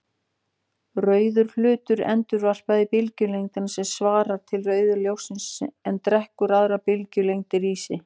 Rauður hlutur endurvarpar bylgjulengdum sem svara til rauða ljóssins en drekkur aðrar bylgjulengdir í sig.